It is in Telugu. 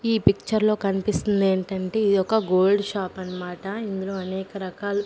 ఈ పిక్చర్ లో కనిపిస్తుంది ఏంటంటే ఇదొక గోల్డ్ షాపు అన్నమాట ఇందులో అనేక రకాల్--